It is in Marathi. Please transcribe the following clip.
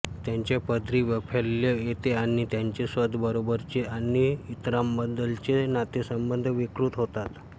त्याच्या पदरी वैफल्य येते आणि त्याचे स्वतःबरोबरचे आणि इतरांबद्दलचे नातेसंबंध विकृत होतात